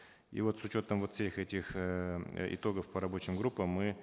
и вот с учетом вот всех этих эээ итогов по рабочим группам мы